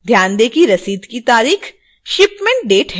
ध्यान दें कि रसीद की तारीख shipment date है